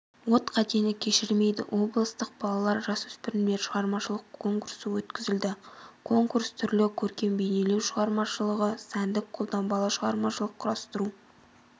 от қатені кешірмейді облыстық балалар-жасөспірімдер шығармашылық конкурсы өткізілді конкурс түрлі көркем-бейнелеу шығармашылығы сәндік-қолданбалы шығармашылық құрастыру